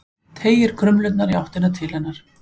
Teygir krumlurnar í áttina til hennar.